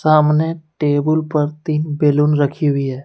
सामने टेबल पर तीन बैलून रखी हुई है।